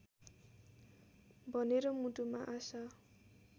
भनेर मुटुमा आशा